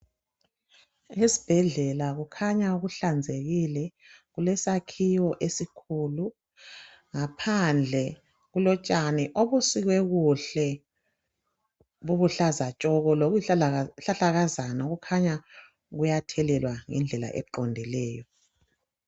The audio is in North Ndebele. Esibhedlela kukhanya kuhlanzekile. Kulesakhiwo esikhulu. Ngaphandle kulotshani obusikwe kuhle buluhlaza tshoko. Lokuyizihlahlakazana okukhanya kuyathelelwa ngendlela eqondileyo.